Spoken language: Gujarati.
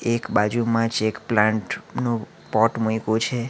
એક બાજુમાં જ એક પ્લાન્ટ નું પોટ મૂયકુ છે.